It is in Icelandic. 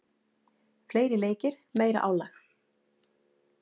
Fleiri leikir, meira álag.